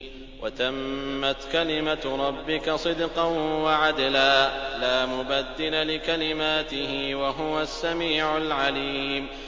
وَتَمَّتْ كَلِمَتُ رَبِّكَ صِدْقًا وَعَدْلًا ۚ لَّا مُبَدِّلَ لِكَلِمَاتِهِ ۚ وَهُوَ السَّمِيعُ الْعَلِيمُ